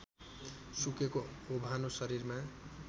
सुकेको ओभानो शरीरमा